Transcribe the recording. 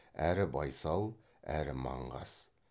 әрі байсал әрі маңғаз